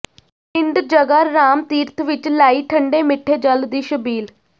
ਪਿੰਡ ਜਗ੍ਹਾ ਰਾਮ ਤੀਰਥ ਵਿਚ ਲਾਈ ਠੰਢੇ ਮਿੱਠੇ ਜਲ ਦੀ ਛਬੀਲ